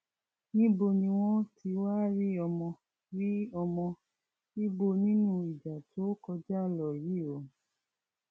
níbo ni wọn ti wáá rí ọmọ rí ọmọ ibo nínú ìjà tó kọjá lọ yìí o